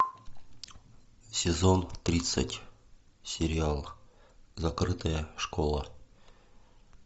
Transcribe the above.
сезон тридцать сериал закрытая школа